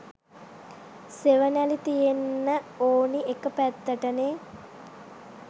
සෙවනැලි තියෙන්න ඔනි එක පැත්තටනේ.